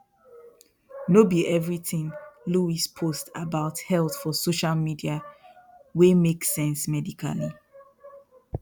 no be everything luis post about health for social media wey make sense medically